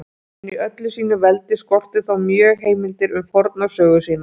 En í öllu sínu veldi skorti þá mjög heimildir um forna sögu sína.